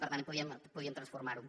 per tant podíem transformarho